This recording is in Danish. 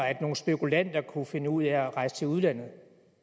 at nogle spekulanter kunne finde ud af at rejse til udlandet